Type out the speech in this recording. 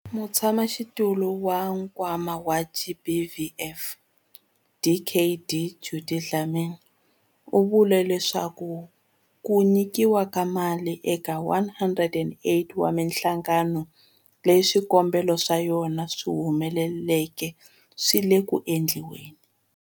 Mutshamaxitulu wa Nkwama wa GBVF, Dkd Judy Dlamini, u vule leswaku ku nyikiwa ka mali eka 108 wa mihlangano leyi swikombelo swa yona swi humeleleke swi le ku endliweni.